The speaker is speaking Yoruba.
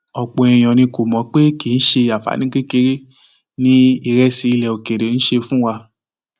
ọpọ èèyàn ni kò mọ pé kì í ṣe àǹfààní kékeré ni ìrẹsì ilẹ òkèèrè ń ṣe fún wa